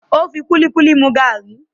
Ó fi kúlíkúlí mu gàárì